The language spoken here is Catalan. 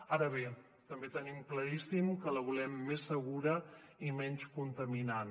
ara bé també tenim claríssim que la volem més segura i menys contaminant